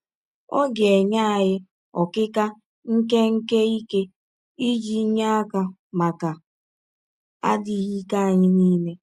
Ọ ga - enye anyị “ ọkịka nke nke ike ” iji nye aka maka adịghị ike anyị nile.